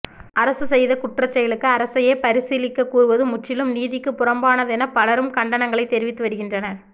அரசு செய்த குற்றச்செயலுக்கு அரசயே பரிசீலிக்க கூறுவது முற்றிலும் நீதிக்கு புறம்பானதென பலரும் கண்டனங்களை தெரிவித்து வருகின்றனர்